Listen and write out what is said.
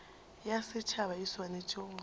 ya setšhaba e swanetše go